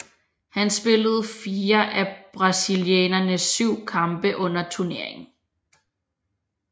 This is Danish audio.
Han spillede fire af brasilianernes syv kampe under turneringen